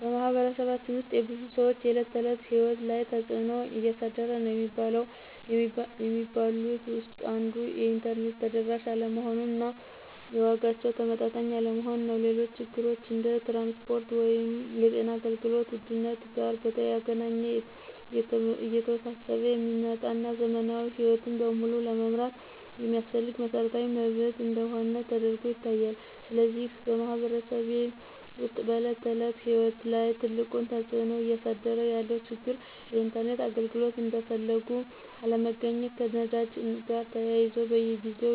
በማኅበረሰባችን ውስጥ የብዙ ሰዎች የዕለት ተዕለት ሕይወት ላይ ትጽእኖ እያሳደረ ነዉ የሚባሉት ውስጥ አንዱ የኢንተርኔት ተደራሽ አለመሆን እና የዋጋው ተመጣጣኝ አለመሆን ነው። ሌሎች ችግሮች እንደ ትራንስፖርት ወይም የጤና አገልግሎት ውድነት ጋር በተገናኘ እየተወሳሰበ የሚመጣ እና ዘመናዊ ሕይወትን በሙሉ ለመምራት የሚያስፈልግ መሰረታዊ መብት እንደሆነ ተደርጎ ይታያል። ስለዚህ በማኅበረሰቤ ውስጥ በዕለት ተዕለት ሕይወት ላይ ትልቁን ተጽዕኖ እያሳደረ ያለው ችግር የኢንተርኔት አገልግሎት እንደፈለጉ አለመገኘት፣ ከነዳጅ ጋር ተያይዞ በየጊዜው